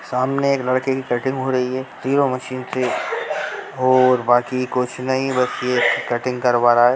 सामने एक लड़के की कटिंग हो रही है तीनो मशीन से और बाकी कुछ नहीं बस ये कटिंग करवा रहा है।